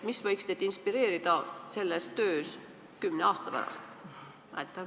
Mis võiks teid selles töös inspireerida kümne aasta pärast?